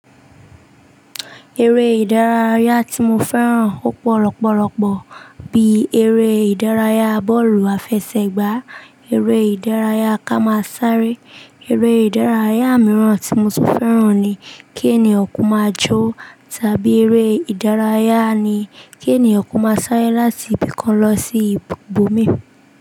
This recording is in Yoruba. Eré ìdárayá tí mo fẹ́ràn ó pọ̀ lọpọ̀lọpọ̀ bí eré ìdárayá bọ́ọ̀lù àfẹsẹ̀gbá, eré ìdárayá ká máa sáré. Eré ìdárayá mìíràn tí mo tún fẹ́ràn ni kí ènìyàn kó máa jó tàbí eré ìdárayá ní kí ènìyàn kó máa sáré láti ibìkan lọ sí ibòmíì.